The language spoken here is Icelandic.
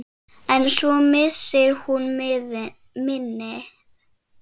En svo missir hún minnið.